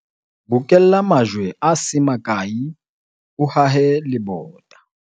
bokella majwe a se makae o hahe lebota